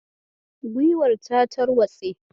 Guiwar ta tarwatse.